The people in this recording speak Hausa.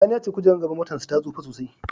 Sani ya ce kojerar gaban motarsa ta tsufa sosai.